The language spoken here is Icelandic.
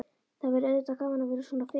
Það væri auðvitað gaman að vera svona fim.